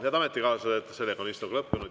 Head ametikaaslased, istung on lõppenud.